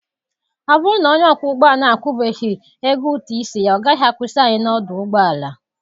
Ọ bụrụ na onye ọkpọ ụgbọala a akwụbeghị ego ụtụ isi ya, ọ gaghị akwụsị anyị n'ọdụ ụgbọ ala.